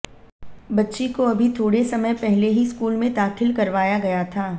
बच्ची को अभी थोड़े समय पहले ही स्कूल में दाखिल करवाया गया था